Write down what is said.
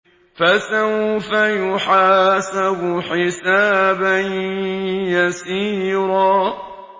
فَسَوْفَ يُحَاسَبُ حِسَابًا يَسِيرًا